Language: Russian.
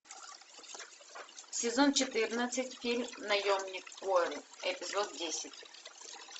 сезон четырнадцать фильм наемник куорри эпизод десять